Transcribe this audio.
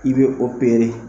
I be opere